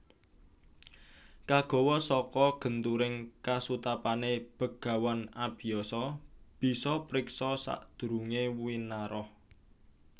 Kagawa saka genturing kasutapané Begawan Abiyasa bisa priksa sadurungé winarah